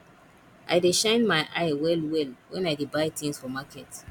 i dey shine my eye wellwell wen i dey buy tins for market